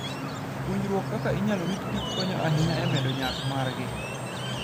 Puonjruok kaka inyalo rit kich konyo ahinya e medo nyak margi.